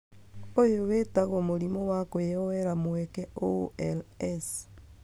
Ũyũ witagwo mũrimũ wa kũoyera mweke(OIs)